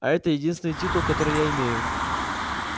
а это единственный титул который я имею